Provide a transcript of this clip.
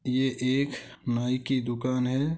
यह एक नाई की दुकान है।